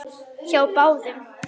Hjá báðum.